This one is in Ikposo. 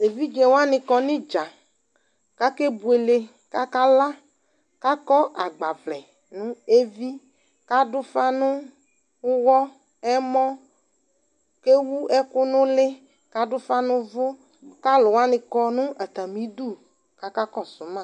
Evidze wanɩ kɔ nʋ ɩdza kʋ akebuele kʋ akala kʋ akɔ agbawlɛ nʋ evi kʋ adʋ ʋfa nʋ ʋɣɔ, ɛmɔ kʋ ewu ɛkʋ nʋ ʋlɩ kʋ adʋ ʋfa nʋ ʋvʋ kʋ alʋ wanɩ kɔ nʋ atzmɩ idu kʋ akakɔsʋ ma